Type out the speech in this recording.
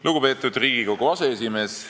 Lugupeetud Riigikogu aseesimees!